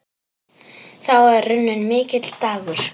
Þá er runninn mikill dagur.